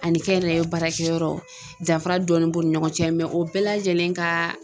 Ani kɛnyɛrɛye baarakɛ yɔrɔ danfara dɔɔni b'u ni ɲɔgɔn cɛ o bɛɛ lajɛlen ka